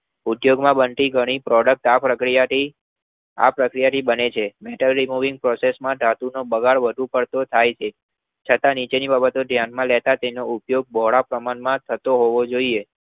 ઉદ્યોગોમાં બનતી ઘણી Product આ પ્રક્રિયા ધી આ પ્રક્રિયાથી બને છે Metal Inori Process માં ધાતુનો બગાડ વધુ પડતો થાય છે તથા નીચેનીબાબત ધ્યાનમાં લેતા તેનો ઉપયોગ બોહરા પ્રમાણમાં થતો હોવો જોઇએ